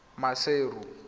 maseru